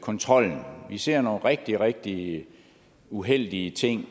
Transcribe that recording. kontrollen vi ser nogle rigtig rigtig uheldige ting